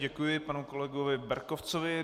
Děkuji panu kolegovi Berkovcovi.